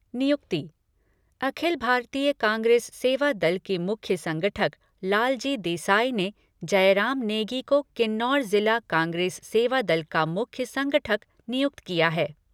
नियुक्ति अखिल भारतीय कांग्रेस सेवा दल के मुख्य संगठक लालजी देसाई ने जयराम नेगी को किन्नौर जिला कांग्रेस सेवादल का मुख्य संगठक नियुक्त किया है।